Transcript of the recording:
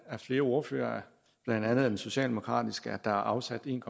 af flere ordførere blandt andet af den socialdemokratiske at der er afsat en